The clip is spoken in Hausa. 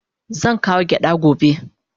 Zan kawo gyada gobe.